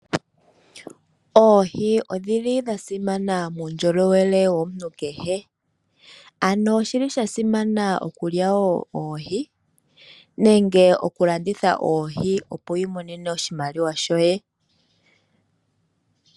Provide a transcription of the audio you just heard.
Oohi odhili dha simana muundjolowele womuntu kehe. Ano oshili sha simana okulya woo oohi nenge okulanditha oohi opo wiimonene oshimaliwa shoye .